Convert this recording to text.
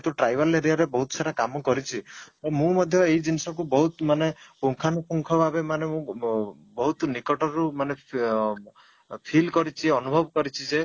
ତ tribal area ରେ ବହୁତ ସାରା କାମ କରିଛି ମୁଁ ମଧ୍ୟ ଏଇଜିନିଷ କୁ ବହୁତ ମାନେ ପୂଙ୍ଖାନୁପୁଙ୍ଖ ଭାବେ ମାନେ ବ ବହୁତ ନିକଟରୁ ଅଂ feel କରିଛି ଯେ ଅନୁଭବ କରିଛି ଯେ